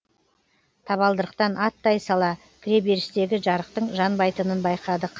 табалдырықтан аттай сала кіреберістегі жарықтың жанбайтынын байқадық